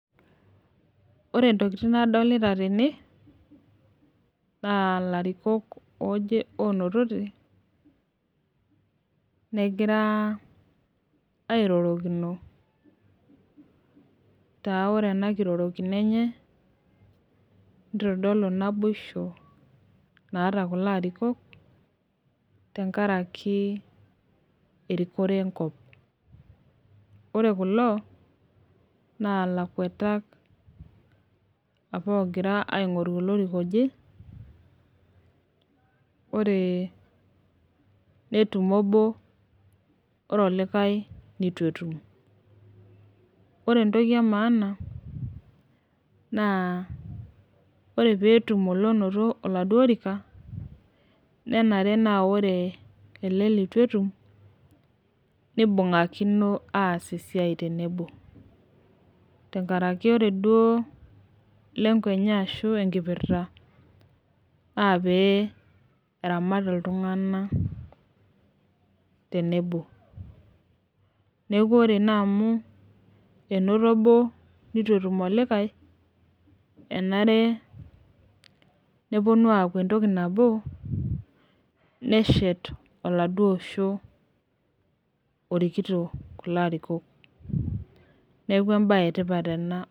Ore ntokitin nadolita tene naa lairikok ooje onotote, negira airorokino taa ore ena nkirorikino enyee neitodolu naiboisho laata kuloo laarikok tang'araki erikoree nkop. Ore kuloo naa laikwatak apaa ogiraa aing'uruu loirikaa ojii. Ore netuum oboo ore olikai netuu etuum. Ore ntokii e maana naa ore pee etuum lonotoo oladoo oorika nenere naa ore ele letuu etuum neibung'akino aas esiai tenebo. Tang'araki ore doo lengo enyee ashuu enkipirita naa pee eramaat ltung'ana tenebo. Naa ore naa amu enotoo oboo netuu etuum olikai anaare neponuu aaku entokii naboo neeshet oladoo oshoo orikitoo kuloo arikook. Neeku ebaye e tipaat ena.